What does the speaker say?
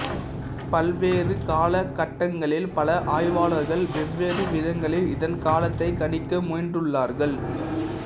பல்வேறு காலகட்டங்களில் பல ஆய்வாளர்கள் வெவ்வேறு விதங்களில் இதன் காலத்தைக் கணிக்க முயன்றுள்ளார்கள்